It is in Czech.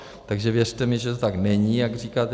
Takže věřte mi, že to tak není, jak říkáte.